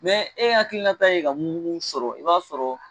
Mɛ e hakilinata ye ka mun mun sɔrɔ i b'a sɔrɔ